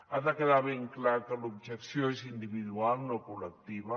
ha de quedar ben clar que l’objecció és individual no col·lectiva